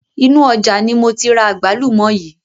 Inu ọjà ni moti ra àgbálùmọ̀ yii